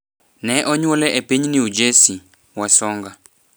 Ne onyuole e piny New Jersey, Wasonga